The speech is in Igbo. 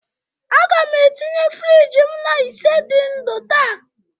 Aga m etinye friji m na ise dị ndụ taa